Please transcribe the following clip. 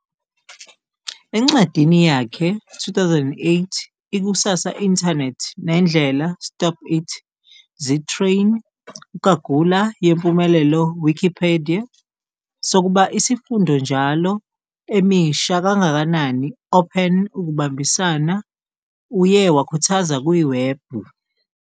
Encwadini yakhe 2008, Ikusasa Internet nendlela Stop It, Zittrain ugagula yempumelelo Wikipedia sokuba isifundo njalo emisha kangakanani open ukubambisana uye wakhuthaza kuwebhu.